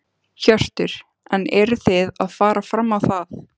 Hjörtur: En eruð þið að fara fram á það?